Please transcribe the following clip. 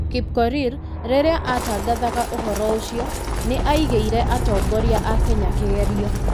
Kipkorir, rĩrĩa atangathaga ũhoro ũcio, nĩ aigeire atongoria a Kenya kĩgerio.